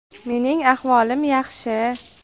Mening ahvolim yaxshi.